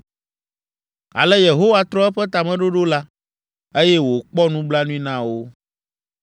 Ale Yehowa trɔ eƒe tameɖoɖo la, eye wòkpɔ nublanui na wo.